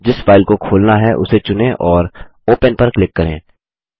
जिस फाइल को खोलना है उसे चुनें और ओपन पर क्लिक करें